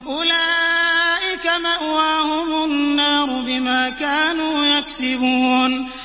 أُولَٰئِكَ مَأْوَاهُمُ النَّارُ بِمَا كَانُوا يَكْسِبُونَ